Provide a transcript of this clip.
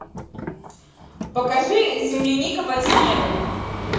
покажи земляника под снегом